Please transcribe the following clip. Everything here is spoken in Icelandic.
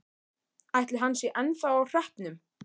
Ætli hann sé ennþá á hreppnum?